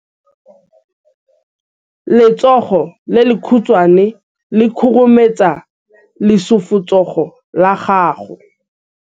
letsogo le lekhutshwane le khurumetsa lesufutsogo la gago